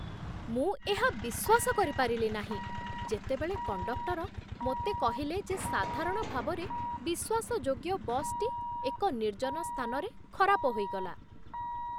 ମୁଁ ଏହା ବିଶ୍ୱାସ କରିପାରିଲି ନାହିଁ ଯେତେବେଳେ କଣ୍ଡକ୍ଟର ମୋତେ କହିଲେ ଯେ ସାଧାରଣ ଭାବରେ ବିଶ୍ୱାସଯୋଗ୍ୟ ବସ୍‌ଟି ଏକ ନିର୍ଜନ ସ୍ଥାନରେ ଖରାପ ହୋଇଗଲା!